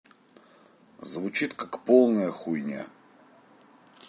звучит как полная хуйня